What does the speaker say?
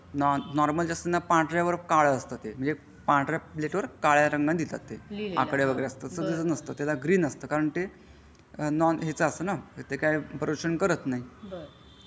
Normal जसा असते ना पांढरे वर काळ असते ते म्हणजे पंधरा प्लेट वर काळ रंगाने लिहतात ते आकडे वगरे असतात याचा असा नसते ग्रीन असते ते कारण ते नॉन याचा असता ना ते काय प्रदूषण करत नाही.